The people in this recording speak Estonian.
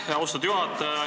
Aitäh, austatud juhataja!